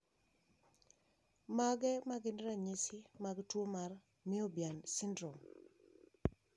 Mage magin ranyisi mag tuo mar Moebius syndrome?